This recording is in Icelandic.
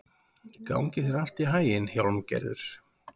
Gangi þér allt í haginn, Hjálmgerður.